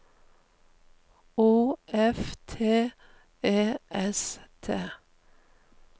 O F T E S T